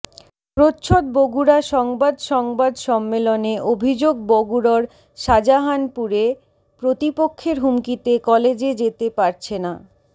প্রচ্ছদ বগুড়া সংবাদ সংবাদ সম্মেলনে অভিযোগ বগুড়র শাজাহানপুরে প্রতিপক্ষের হুমকিতে কলেজে যেতে পারছে না